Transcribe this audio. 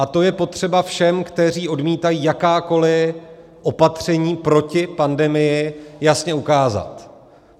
A to je potřeba všem, kteří odmítají jakákoli opatření proti pandemii, jasně ukázat.